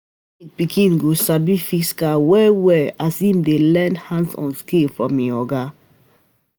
Mechanic pikin go sabi fix car well well as em dey learn hands-on skills from e oga